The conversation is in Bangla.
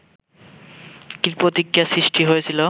কী প্রতিক্রিয়ার সৃষ্টি হয়েছিল